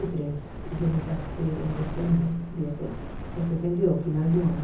e três e eu me casei em dezembro dia sete de setenta e dois, final do ano.